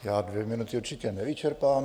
Já dvě minuty určitě nevyčerpám.